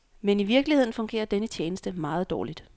Men i virkeligheden fungerer denne tjeneste meget dårligt.